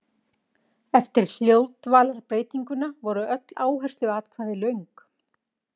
Eftir hljóðdvalarbreytinguna voru öll áhersluatkvæði löng.